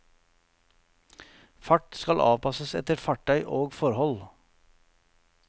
Fart skal avpasses etter fartøy og forhold.